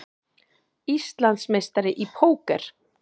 Íslandsmeistari í póker